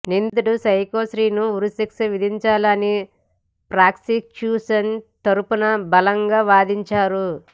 నిందితుడు సైకో శ్రీను ఉరిశిక్ష విధించాలని ప్రాసిక్యూషన్ తరఫున బలంగా వాదించారు